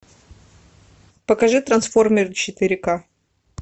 покажи трансформеры четыре ка